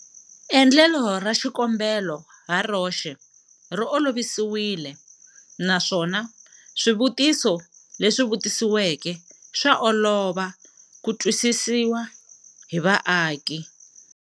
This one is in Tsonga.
Endlelo ra xikombelo haroxe ri olovisiwile naswona swivutiso leswi vutisiweke swa olova ku twisisiwa hi vaaki.